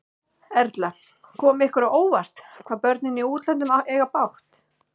Erla: Kom ykkur á óvart, hvað börnin í útlöndum eiga bágt?